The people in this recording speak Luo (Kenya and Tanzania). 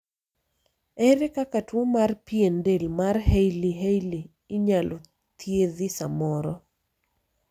ere kaka tuo mar pien del mar hailey hailey inyalo thiedhi samoro?